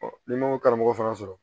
n'i m'o karamɔgɔ fana sɔrɔ